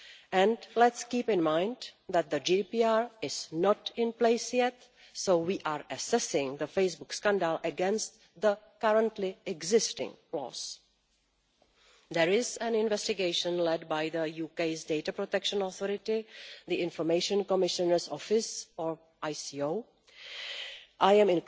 And let's keep in mind that the GDPR is not in place yet, so we are assessing the Facebook scandal against the currently existing laws. There is an investigation led by the UK's data protection authority, the Information Commissioner's Office I am